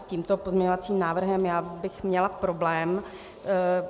S tímto pozměňovacím návrhem já bych měla problém.